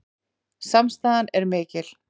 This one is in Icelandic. Samstaðan er mikil